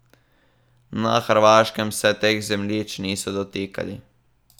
Na Hrvaškem se teh zemljišč niso dotikali.